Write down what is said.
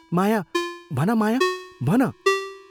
माया भन माया, भन